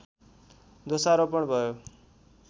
दोषारोपण भयो